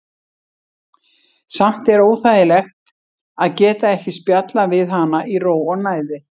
Samt er óþægilegt að geta ekki spjallað við hana í ró og næði.